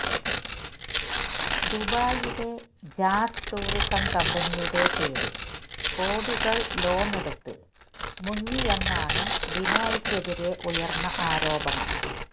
ദുബായിലെ Jazz tourism കമ്പനിയുടെ പേരില് കോടികള് ലോണ് എടുത്ത് മുങ്ങിയെന്നാണ് ബിനോയ്ക്ക് എതിരെ ഉയർന്ന ആരോപണം